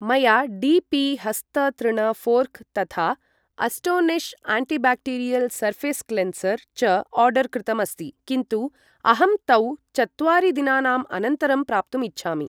मया D P हस्त तृण फोर्क् तथा अस्टोनिश् आण्टिबाक्टीरियल् सर्फेस् क्लेन्सर् च आर्डर् कृतम् अस्ति, किन्तु अहं तौ चत्वारि दिनानाम् अनन्तरं प्राप्तुम् इच्छामि।